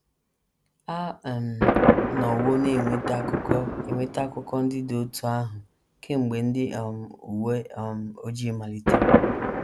A um nọwo na - enweta akụkọ - enweta akụkọ ndị dị otú ahụ kemgbe ndị um uwe um ojii malitere.